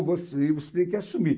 você você tem que assumir.